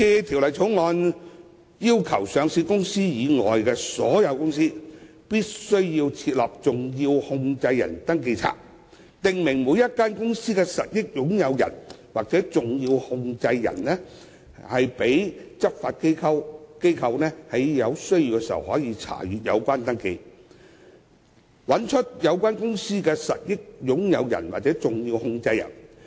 《條例草案》要求上市公司以外的所有公司均須備存登記冊，訂明每間公司的實益擁有人或重要控制人，讓執法機構在有需要時查閱，以找出有關公司的實益擁有人或重要控制人。